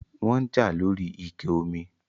wọ́n ń jà lóri ike omi